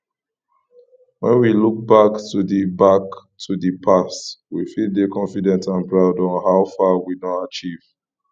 when we look back to di back to di past we fit dey confident and proud of how far we don achieve